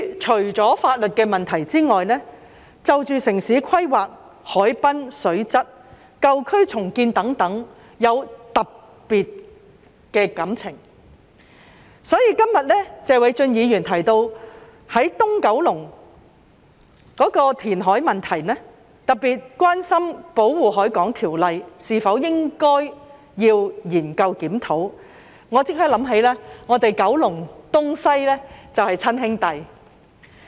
除了法律的問題外，我對於城市規劃、海濱水質、舊區重建等事宜也有特別的感情，所以，今天謝偉俊議員提到東九龍的填海問題，特別是關於應否研究檢討《保護海港條例》，我便立即想起我們九龍東及九龍西就是親兄弟。